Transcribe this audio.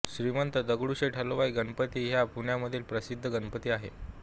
श्रीमंत दगडूशेठ हलवाई गणपती हा पुण्यामधील प्रसिद्ध गणपती आहे